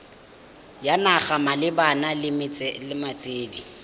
ya naga malebana le metswedi